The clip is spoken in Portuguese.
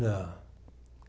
Não.